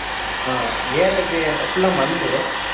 ஆஹ் ஏர்றது full லா மண்ணு